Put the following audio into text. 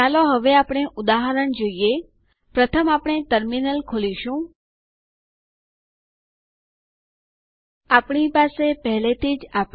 ચાલો હું તમને સુડો આદેશ વિશે સંક્ષિપ્ત સમજૂતી આપું